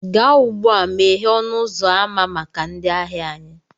Gaa ugbu a, meghee ọnụ ụzọ ámá maka ndị ahịa anyị